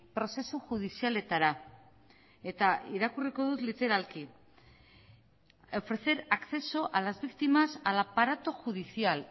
prozesu judizialetara eta irakurriko dut literalki ofrecer acceso a las víctimas al aparato judicial